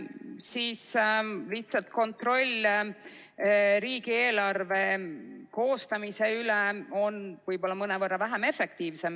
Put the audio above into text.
Siis lihtsalt kontroll riigieelarve koostamise üle on võib-olla mõnevõrra vähem efektiivne.